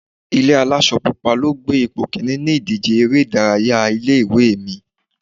Ilé aláṣọ pupa ló gbé ipò kíní ní ìdíje eré ìdárayá ilé ìwé mi.